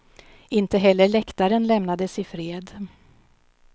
Inte heller läktaren lämnades i fred.